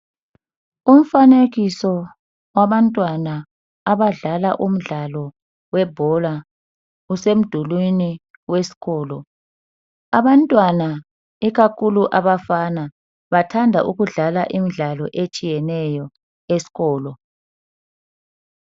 Umfanekiso wabantwana abadlala umdlalo webhola usemdulwini wesikolo. Abantwana ikakhulu abafana bathanda ukudlala imidlalo etshiyeneyo esikolo.